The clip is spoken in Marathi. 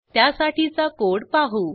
त्यासाठीचा कोड पाहू